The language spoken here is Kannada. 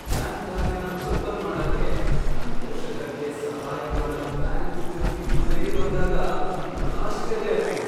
ಬ್ಯಾಂಕ್ ಖಾತೆನ ಓಪನ್ ಮಾಡಕೆ ನನ್ ಪೋಷಕರ್ಗೆ ಸಹಾಯ ಮಾಡಕ್ ಬ್ಯಾಂಕ್ ಉದ್ಯೋಗಿ ಮನೆಗೆ ಬಂದಾಗ ನಂಗ್ ಆಶ್ಚರ್ಯ ಆಯ್ತು.